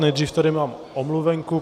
Nejdřív tady mám omluvenku.